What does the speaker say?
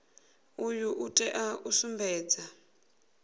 uyu u tea u sumbedza